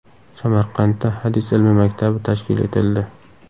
Samarqandda hadis ilmi maktabi tashkil etildi.